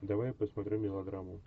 давай я посмотрю мелодраму